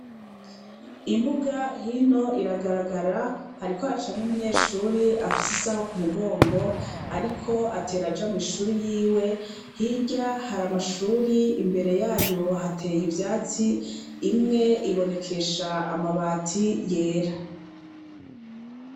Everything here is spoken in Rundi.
Imbuga hino iragaragara hariko hacamwo umunyeshure afise isaho ku mugongo ariko atera aja mw'ishute yiwe hirya hari amashure imbere yayo hateye ivyatsi imwe ibonekesha ambati yera.